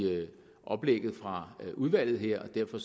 oplægget fra udvalget her og derfor